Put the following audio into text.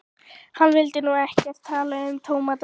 Hann vildi nú ekkert tala um tómata.